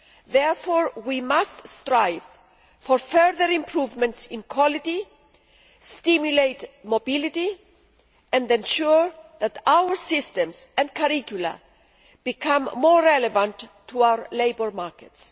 Therefore, we must strive for further improvements in quality, stimulate mobility and ensure that our systems and curricula become more relevant to our labour markets.